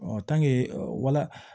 wala